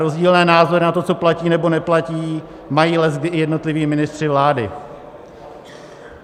Rozdílné názory na to, co platí nebo neplatí, mají leckdy i jednotliví ministři vlády.